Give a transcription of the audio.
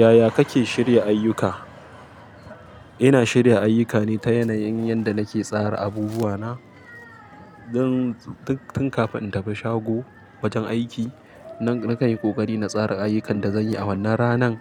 Yaya kake shirya ayyuka? Ina shirya ayyuka ne ta yanayin yadda nake tsara abubuwana. Don tun kafin in tafi shago wajen aiki, na-nakan yi ƙoƙari na tsara ayyukan da zanyi a wannan ranan